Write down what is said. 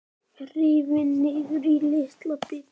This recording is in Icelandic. Rifin niður í litla bita.